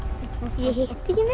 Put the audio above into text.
ég hitti ekki neitt